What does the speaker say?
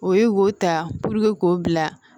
O ye wo ta k'o bila